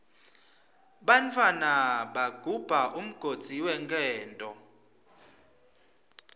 bantfwana bagubha umgodzi wenkento